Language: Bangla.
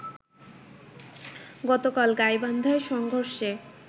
গতকাল গাইবান্ধায় সংঘর্ষে